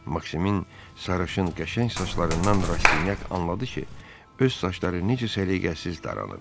Maksimin sarışın, qəşəng saçlarından Rastinyak anladı ki, öz saçları necə səliqəsiz daranır.